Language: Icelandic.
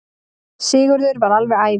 Sigurður varð alveg æfur.